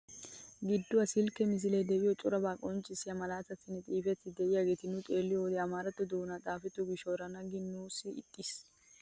Gidduwaan silkkiyaa misilee de'iyo corabaa qonccisiyaa malaatatinne xifatetti de'iyaageta nuuni xeelliyoo wode amaaratto doonan xaafetto gishshawu erana gin nuusi ixxis!